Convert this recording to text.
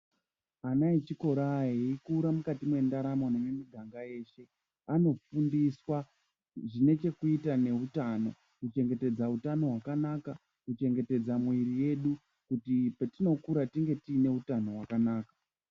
Ana echikora eikura mukati mwendaramo nemumiganga yeshe anofundiswa zvine chekuita neutano kuchengetedza hutano hwakanaka, kuchengetedza mwiri yedu kuti petinokura tinge tiine utano wakanaka.